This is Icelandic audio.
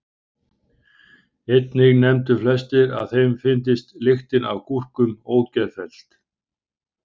Einnig nefndu flestir að þeim fyndist lyktin af gúrkum ógeðfelld.